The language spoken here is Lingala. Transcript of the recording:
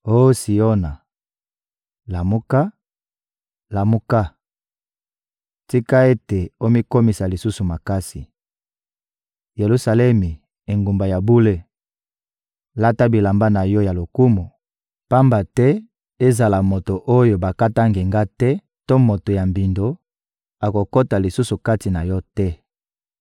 Oh Siona, lamuka, lamuka! Tika ete omikomisa lisusu makasi. Yelusalemi, engumba ya bule, lata bilamba na yo ya lokumu, pamba te ezala moto oyo bakata ngenga te to moto ya mbindo, akokota lisusu kati na yo te.